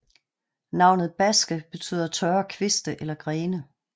Navnet Baske betyder tørre kviste eller grene